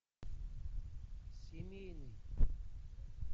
семейный